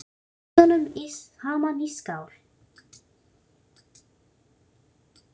Blandið olíunum saman í skál.